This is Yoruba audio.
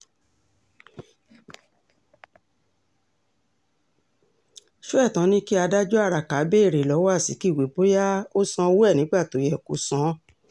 sọ́ẹ̀tàn ni kí adájọ́ araka béèrè lọ́wọ́ azikiwe bóyá ó sanwó ẹ̀ nígbà tó yẹ kó san án